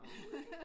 Overhovedet ikke